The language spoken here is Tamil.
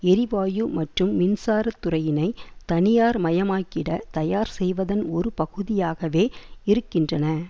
எரிவாயு மற்றும் மின்சார துறையினை தனியார்மயமாக்கிட தயார்செய்வதன் ஒரு பகுதியாகவே இருக்கின்றன